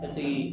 Paseke